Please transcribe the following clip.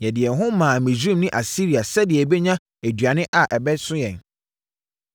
Yɛde yɛn ho maa Misraim ne Asiria sɛdeɛ yɛbɛnya aduane a ɛbɛso yɛn.